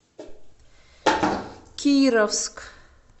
кировск